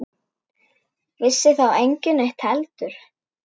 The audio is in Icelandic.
Vissi þá enginn neitt heldur?